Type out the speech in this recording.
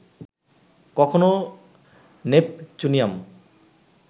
কখনো নেপচুনিয়াম